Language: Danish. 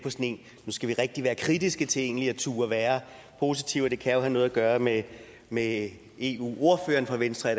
nu skal vi rigtig være kritiske til egentlig at turde være positive det kan jo have noget at gøre med med eu ordføreren for venstre og